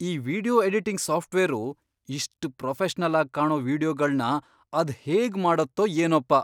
ಈ video editing software ಇಷ್ಟ್ professional ಆಗ್ ಕಾಣೋ ವೀಡಿಯೊಗಳ್ನ ಅದ್ಹೇಗ್ ಮಾಡತ್ತೋ ಏನೋಪ್ಪ!